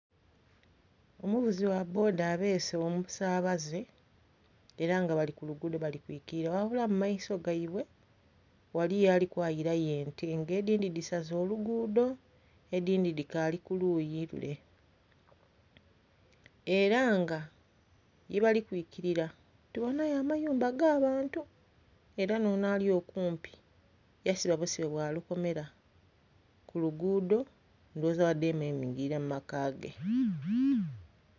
Omuvuzi gha bboda abeese omusabaze era nga bali ku luguudo bali kwikirira ghabula mu maiso gaibwe ghaliyo ali kwayirayo ente nga edindhi dhisaze oluguudo edindhi dhikaali ku luyi lule. Era nga ye bali kwikirira tubonhayo amayumba ga bantu era n'onho ali okumpi yasiba busibe bwa lukomera ku luguudo ndhowoza badheeme mwingilira mu maka ge.